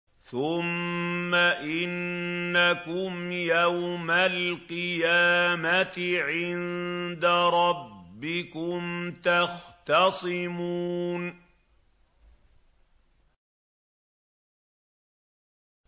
ثُمَّ إِنَّكُمْ يَوْمَ الْقِيَامَةِ عِندَ رَبِّكُمْ تَخْتَصِمُونَ